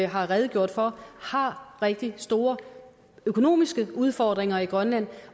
har redegjort for rigtig store økonomiske udfordringer i grønland